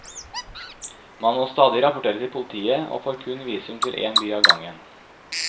Man må stadig rapportere til politiet og får kun visum til én by av gangen.